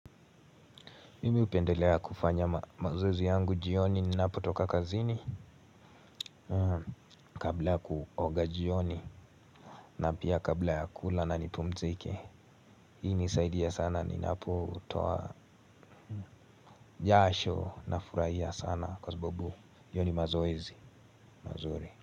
Mimi hupendelea kufanya mazoezi yangu jioni ninapotoka kazini. Kabla ya kuoga jioni na pia kabla ya kula na nipumzike. Hii nisaidia sana ninapotoa jasho nafuraia sana kwa sabubu hiyo ni mazoezi mazuri.